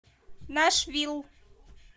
нашвилл